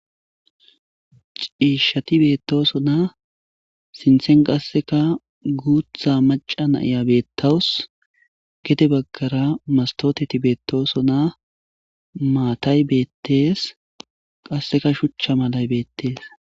ciishshati beettosona sinthen qasseka guutha maca na'iya beettawus gede baggara mastoteti beettoosona maatay beettees qasseka shuchcha malay beettees